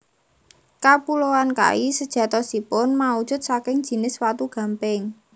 Kapuloan Kai sejatosipun maujud saking jinis watu gamping